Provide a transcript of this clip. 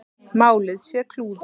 Málið sé klúður.